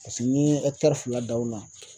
Paseke n'i ye fila dan o la